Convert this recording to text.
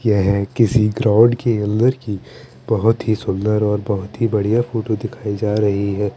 ये हे किसी ग्रोड के अंदर की बहोत ही सुंदर और बहोत ही बढ़िया फोटो दिखाई जा रही है।